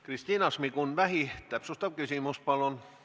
Kristina Šmigun-Vähi, täpsustav küsimus palun!